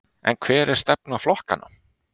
En hver er stefna flokkanna?